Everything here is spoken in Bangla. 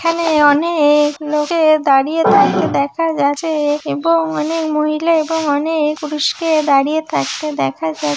এখানে-এ অ-নে-ক লোককের দাঁড়িয়ে থাকতে দেখা গেছে-এ এবং অ-নে-ক মহিলা এবং অ-নে-ক পুরুষকে দাঁড়িয়ে থাকতে দেখা যা--